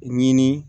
Ɲini